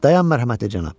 Dayan, mərhəmətli cənab!